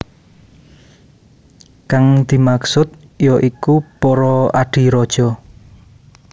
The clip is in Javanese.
Kang dimaksud ya iku para adhi raja